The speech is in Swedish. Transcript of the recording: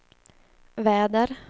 väder